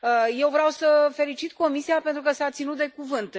Eu vreau să felicit Comisia pentru că s a ținut de cuvânt.